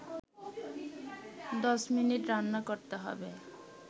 ১০ minute রান্না করতে হবে